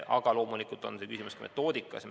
Aga loomulikult on küsimus ka metoodikas.